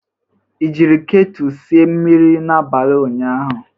Ị jiri ketu sie mmiri n'abalị ụnyaahụ?